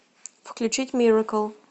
включить миракл